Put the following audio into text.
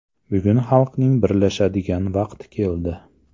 Bugun xalqning birlashadigan vaqti keldi.